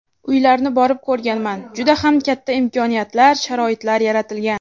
Uylarni borib ko‘rganman, juda ham katta imkoniyatlar, sharoitlar yaratilgan.